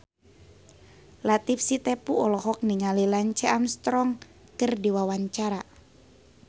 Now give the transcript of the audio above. Latief Sitepu olohok ningali Lance Armstrong keur diwawancara